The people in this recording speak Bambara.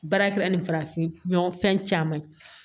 Baara kɛra ni farafin ɲɔgɔ fɛn caman ye